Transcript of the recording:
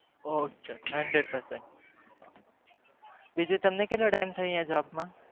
ઓં બરાબર